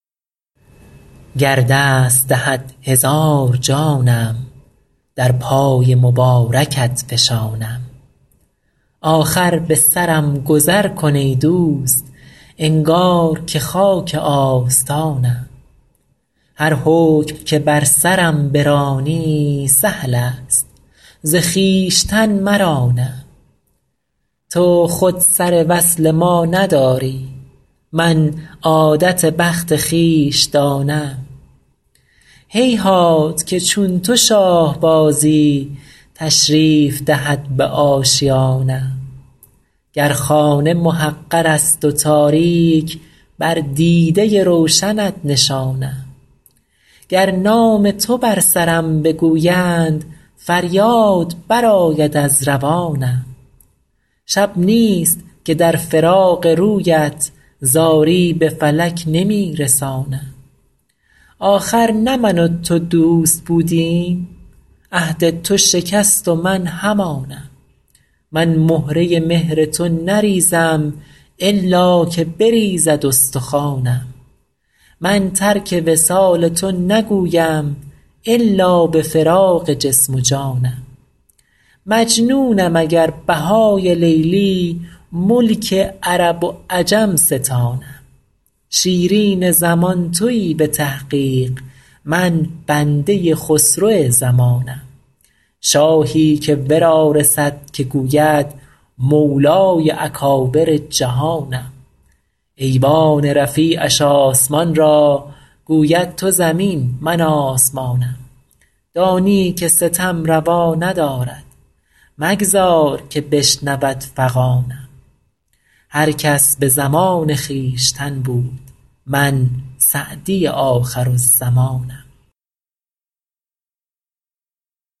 گر دست دهد هزار جانم در پای مبارکت فشانم آخر به سرم گذر کن ای دوست انگار که خاک آستانم هر حکم که بر سرم برانی سهل است ز خویشتن مرانم تو خود سر وصل ما نداری من عادت بخت خویش دانم هیهات که چون تو شاه بازی تشریف دهد به آشیانم گر خانه محقر است و تاریک بر دیده روشنت نشانم گر نام تو بر سرم بگویند فریاد برآید از روانم شب نیست که در فراق رویت زاری به فلک نمی رسانم آخر نه من و تو دوست بودیم عهد تو شکست و من همانم من مهره مهر تو نریزم الا که بریزد استخوانم من ترک وصال تو نگویم الا به فراق جسم و جانم مجنونم اگر بهای لیلی ملک عرب و عجم ستانم شیرین زمان تویی به تحقیق من بنده خسرو زمانم شاهی که ورا رسد که گوید مولای اکابر جهانم ایوان رفیعش آسمان را گوید تو زمین من آسمانم دانی که ستم روا ندارد مگذار که بشنود فغانم هر کس به زمان خویشتن بود من سعدی آخرالزمانم